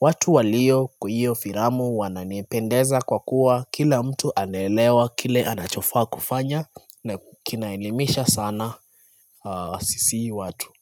watu walio kwa hiyo firamu wananipendeza kwa kuwa Kila mtu anaelewa, kile anachofaa kufanya na kinaelimisha sana sisi watu.